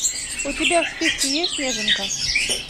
у тебя в списке есть неженка